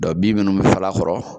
Dɔn bin minnu bɛ fal'a kɔrɔ